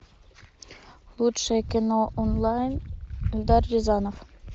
лучшее кино онлайн эльдар рязанов